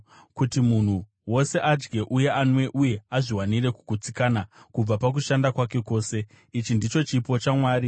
Kuti munhu wose adye uye anwe uye azviwanire kugutsikana kubva pakushanda kwake kwose, ichi ndicho chipo chaMwari.